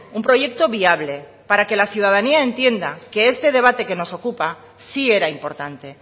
un proyecto viable para que la ciudadanía entienda que este debate que nos ocupa sí era importante